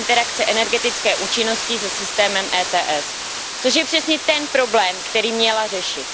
interakce energetické účinnosti se systémem ETS, což je přesně ten problém, který měla řešit.